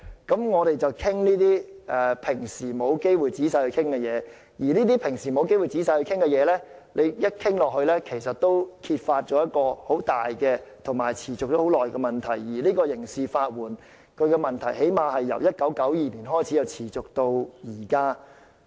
當我們討論這些平時沒有機會仔細討論的事情時，在討論過程中其實可以揭發很大和持續已久的問題，而刑事法援這問題最少是由1992年開始持續至今。